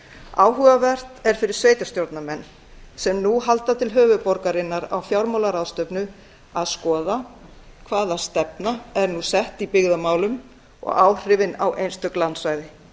áhugavert er fyrir sveitarstjórnarmenn sem nú halda til höfuðborgarinnar á fjármálaráðstefnu að skoða hver stefnan er nú í byggðamálum og áhrifin á einstök landsvæði